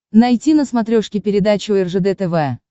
найти на смотрешке передачу ржд тв